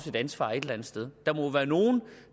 et ansvar et eller andet sted der må være nogen